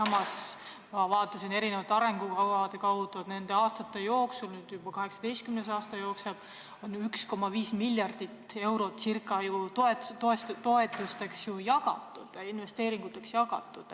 Ma vaatasin ka arengukavasid ja nende aastate jooksul – nüüd jookseb juba 18. aasta – on ju circa 1,5 miljardit eurot toetustena, investeeringutena välja jagatud.